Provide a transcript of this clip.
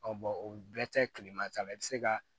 o bɛɛ tɛ kilema ta la i bɛ se ka